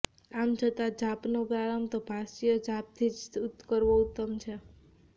આમ છતાં જાપનો પ્રારંભ તો ભાષ્ય જાપથી જ કરવો ઉત્તમ છે